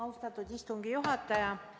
Austatud istungi juhataja!